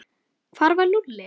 Hvar var Lúlli?